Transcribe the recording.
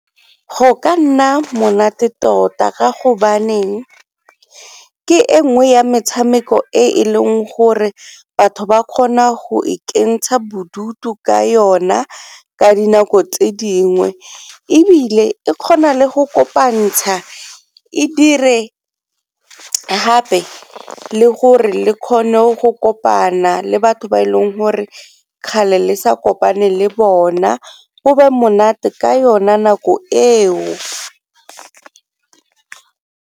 Go ka nna monate tota ka go baneng ke e nngwe ya metshameko e e leng gore batho ba kgona go ikentsha bodutu ka yona ka dinako tse dingwe, ebile e kgona le go kopantsha e dire gape le gore le kgone go kopana le batho ba e leng gore kgale le sa kopane le bona go be monate ka yona nako eo.